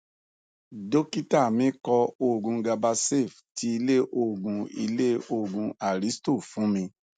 dọkítà mí kọ òògun gabasafe ti ilé òògùn ilé òògùn aristo fún mi